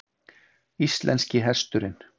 Íslenski hesturinn.